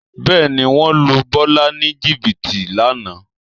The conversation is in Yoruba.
Bẹ́ẹ̀ ni, wọ́n lu Bọ́lá ní jìbìtì lánàá